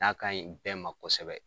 N'a kaɲi bɛɛ ma kosɛbɛ